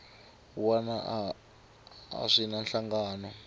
wana a swi na nhlangano